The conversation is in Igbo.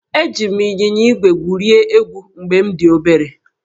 Eji m ịnyịnya ígwè gwurie egwu mgbe m dị obere